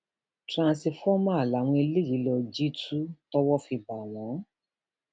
tọńtífọmà làwọn eléyìí lọọ jí tu tówó fi bá wọn